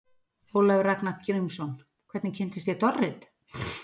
Ólafur Ragnar Grímsson: Hvernig kynntist ég Dorrit?